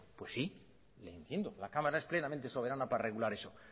pues sí le entiendo la cámara es plenamente soberana para regular eso